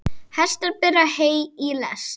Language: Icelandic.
Hestar bera hey í lest.